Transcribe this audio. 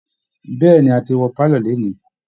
Bẹ̀ẹ̀ ni, a ti wọ pálọ̀ lénìí